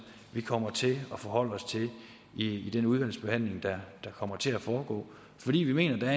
vi kommer til at forholde os til i den udvalgsbehandling der kommer til at foregå fordi vi mener